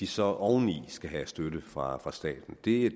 så oveni skal have støtte fra staten det